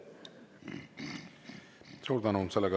Suur tänu!